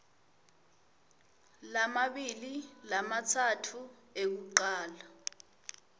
lamabili lamatsatfu ekucala